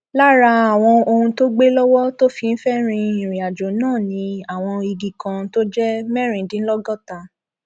lára àwọn ohun tó gbé lọwọ tó fi ń fẹẹ rin ìrìnàjò náà ni àwọn igi kan tó jẹ mẹrìndínlọgọta